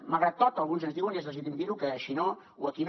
malgrat tot alguns ens diuen i és legítim dir ho que així no i aquí no